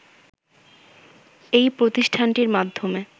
এই প্রতিষ্ঠানটির মাধ্যমে